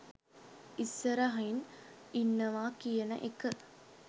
ඉස්සරහින් ඉන්නවා කියන එක